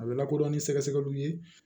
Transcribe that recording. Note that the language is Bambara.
A bɛ lakodɔn ni sɛgɛsɛgɛliw ye